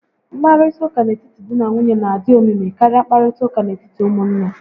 Nkparịta ụka n'etiti dị na nwunye n'adị omimi karịa nkparịta ụka n'etiti ụmụnne